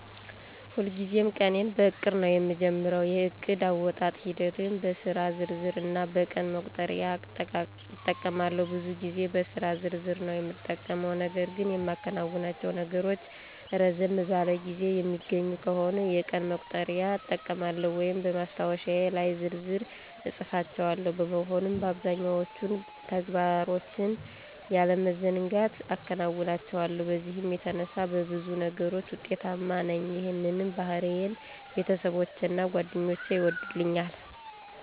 ሁልጊዜም ቀኔን በዕቅድ ነዉ የምጀምረው። የእቅድ አወጣጥ ሂደቴም በስራ ዝርዝር እና በቀን መቁጠሪያ እጠቀማለሁ። ብዙ ጊዜ በስራ ዝርዝር ነዉ የምጠቀመው .ነገር ግን የማከናውናቸው ነገሮች ረዘም ባለ ጊዜ የሚገኙ ከሆነ የቀን መቁጠሪያ እጠቀማለሁ ወይም በማስታወሻዬ ላይ በዝርዝር እፅፋቸዋለሁ። በመሆኑም አብዛኛዎቹን ተግባሮችን ያለመዘንጋት አከናውናቸዋለሁ በዚህም የተነሳ በብዙ ነገሮች ውጤታማ ነኝ ይህንንም ባህሪዬን ቤተሰቦቼና ጓደኞቼ ይወዱልኛል።